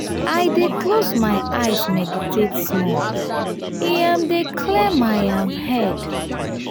i dey close my eyes meditate small e um dey clear my um head.